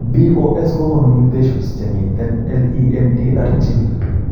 BOS kogonu mutations chemiten LEMD3 gene